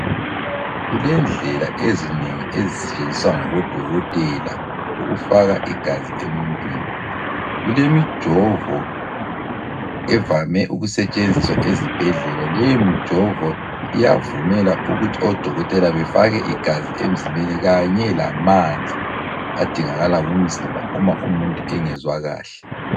Kulendlela ezinengi ezisetshenziswa ngabodokotela ukufaka igazi emuntwini. Kulemijovo evame ukusetshenziswa ezibhedlela leyomijovo iyavumela ukuthi odokotela befake igazi emzimbeni kanye lamanzi adingakala ngumzimba uma umuntu engezwa kahle.